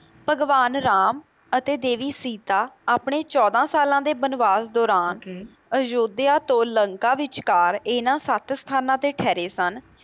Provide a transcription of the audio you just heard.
ਭਗਵਾਨ ਰਾਮ ਅਤੇ ਦੇਵੀ ਸੀਤਾ ਆਪਣੇ ਚੌਦਾਂ ਸਾਲਾਂ ਦੇ ਬਨਵਾਸ ਦੌਰਾਨ ਅਯੋਧਿਆ ਤੋਂ ਲੰਕਾ ਵਿੱਚਕਾਰ ਇਹਨਾਂ ਸੱਤ ਸਥਾਨਾਂ ਤੇ ਠਹਿਰੇ ਸਨ।